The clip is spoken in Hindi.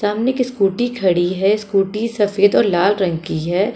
सामने एक स्कूटी खड़ी है स्कूटी सफेद और लाल रंग की है।